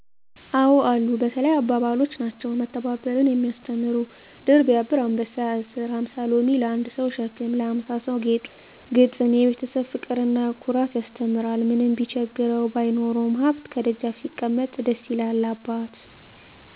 አዎ አሉ። በተለይ አባባሎች ናቸው። መተባበርን የሚያስተምሩ ድር ቢያብር አንበሣ ያስር። ሀምሣ ሎሚ ለአንድ ሠው ሸክም ነው ለሀምሣ ሠው ጌጡ ነው። ግጥም፦ የቤተሠብ ፍቅርና ኩራት ያስተምራል። ምንም ቢቸግረው ባይኖረውም ሀብት፤ ከደጃፍ ሲቀመጥ ደስ ይላል አባት።